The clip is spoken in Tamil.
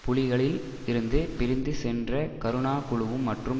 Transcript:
புலிகளில் இருந்து பிரிந்து சென்ற கருணா குழுவும் மற்றும்